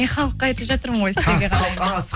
мен халыққа айтып жатырмын ғой